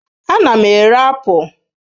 Ana m ere apụl.